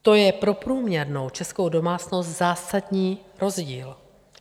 To je pro průměrnou českou domácnost zásadní rozdíl.